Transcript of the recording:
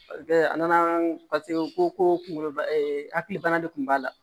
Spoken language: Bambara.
A nana paseke u ko ko kungolo hakili bana de kun b'a la